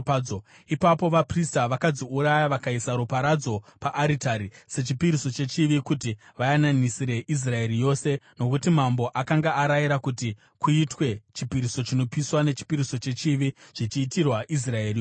Ipapo vaprista vakadziuraya vakaisa ropa radzo paaritari sechipiriso chechivi kuti vayananisire Israeri yose, nokuti mambo akanga arayira kuti kuitwe chipiriso chinopiswa nechipiriso chechivi zvichiitirwa Israeri yose.